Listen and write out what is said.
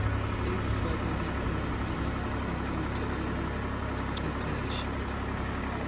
ezifakwa kwikhompiyutha ubuchwepheshe